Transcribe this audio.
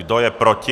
Kdo je proti?